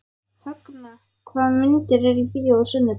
Högna, hvaða myndir eru í bíó á sunnudaginn?